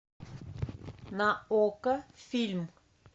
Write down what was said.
на окко фильм